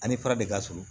Ani fara de ka surun